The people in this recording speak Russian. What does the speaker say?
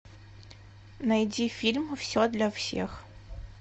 найти фильм все для всех